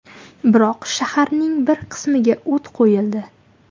Biroq shaharning bir qismiga o‘t qo‘yildi.